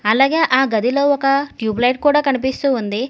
అలాగే ఆ గదిలో ఒక ట్యూబ్లైట్ కూడా కనిపిస్తూ ఉంది.